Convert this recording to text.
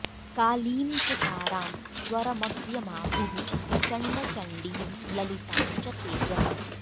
कालीं च तारां स्वरमग्र्यमाहुः प्रचण्डचण्डीं ललितां च तेजः